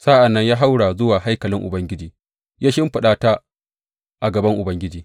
Sa’an nan ya haura zuwa haikalin Ubangiji ya shimfiɗa ta a gaban Ubangiji.